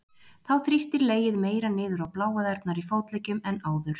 Þá þrýstir legið meira niður á bláæðarnar í fótleggjum en áður.